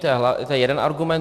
To je jeden argument.